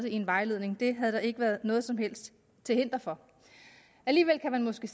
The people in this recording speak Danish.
i en vejledning det havde der ikke været noget som helst til hinder for alligevel kan man måske